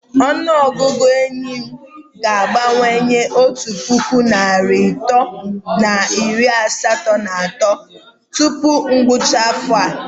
Ọnụ ọgụgụ nke ehi m ga-abawanye otu puku na narị atọ na iri asatọ na atọ tupu ngwụcha afọ a.